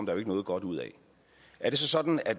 jo ikke noget godt ud af er det så sådan at